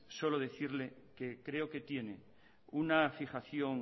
solo decirle que creo que tiene una fijación